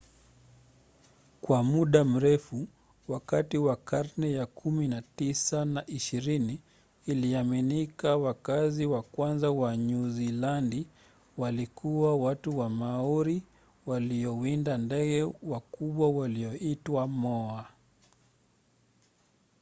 kwa muda mrefu wakati wa karne za kumi na tisa na ishirini iliaminika wakazi wa kwanza wa nyuzilandi walikuwa watu wa maori waliowinda ndege wakubwa walioitwa moa